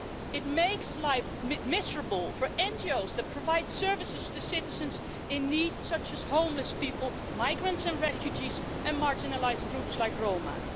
It makes life miserable for NGOs that provide services to citizens in need, such as homeless people, migrants and refugees and marginalised groups like Roma.